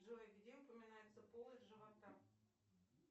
джой где упоминается полость живота